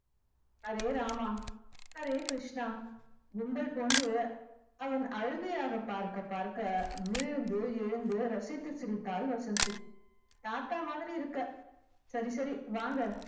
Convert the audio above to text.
ஹரே ராமா ஹரே கிருஷ்ணா கும்பல் போன்று அவன் அழுகையாக பார்க்க பார்க்க விழுந்து எழுந்து ரசித்து சிரித்தாள் வசந்தி தாத்தா மாதிரி இருக்க சரி சரி வாங்க